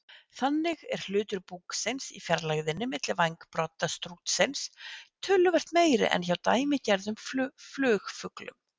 Þannig er hlutur búksins í fjarlægðinni milli vængbrodda strútsins töluvert meiri en hjá dæmigerðum flugfuglum.